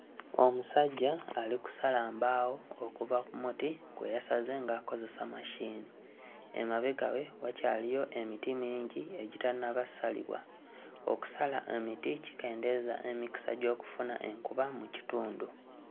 Omusajjja ali kusala mbaawo okuva ku muti gwe yasaze ng'akozesa machine, emabega we wakyaliyo emiti mingi egitannaba ssalibwa, okusala emiti kikendeeza emikisa gy'okufuna enkuba mu kitundu.